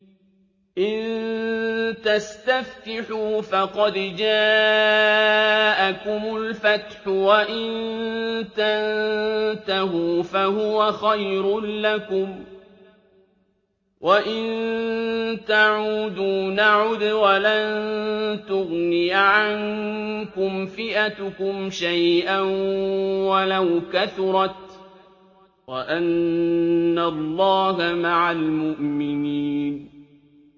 إِن تَسْتَفْتِحُوا فَقَدْ جَاءَكُمُ الْفَتْحُ ۖ وَإِن تَنتَهُوا فَهُوَ خَيْرٌ لَّكُمْ ۖ وَإِن تَعُودُوا نَعُدْ وَلَن تُغْنِيَ عَنكُمْ فِئَتُكُمْ شَيْئًا وَلَوْ كَثُرَتْ وَأَنَّ اللَّهَ مَعَ الْمُؤْمِنِينَ